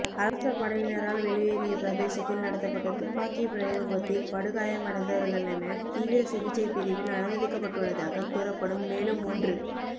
அரச படையினரால் வெலிவேரிய பிரதேசத்தில் நடத்தப்பட்ட துப்பாக்கி பிரயோகத்தில் படுகாயமடைந்தவர்களென தீவிர சிகிச்சைப் பிரிவில் அனுமதிக்கப்பட்டுள்ளதாக கூறப்படும் மேலும் மூன்று